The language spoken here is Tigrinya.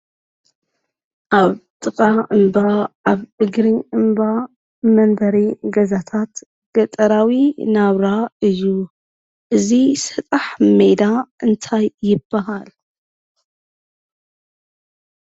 ኣብ ጥቃ እምባ ኣብ እግሪ እምባ መንበሪ ገዛታት ገጠራዊ ናብራ እዩ። እዚ ሰጣሕ ሜዳ እንታይ ይበሃል?